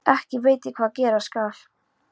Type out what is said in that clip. Ekki veit ég hvað gera skal.